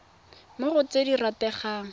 mo go tse di rategang